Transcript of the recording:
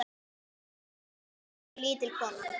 Mjög, mjög lítil kona.